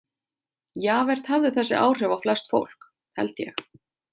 Javert hafði þessi áhrif á flest fólk, held ég.